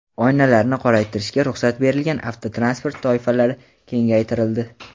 Oynalarni qoraytirishga ruxsat berilgan avtotransport toifalari kengaytirildi.